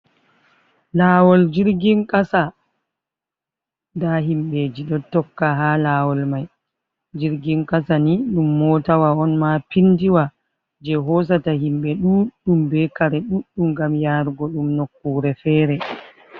Lawol jirgin kasa da himɓeji ɗo tokka ha lawol mai, jirgin kasa ni dum motawa on ma pindiwa je hosata himɓe ɗuɗɗum be kare ɗuɗɗum gam yarugo dum nokkure fere.